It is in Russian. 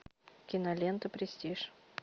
кинолента престиж